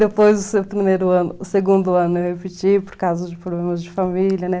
Depois do primeiro ano segundo ano eu repeti por causa de problemas de família, né?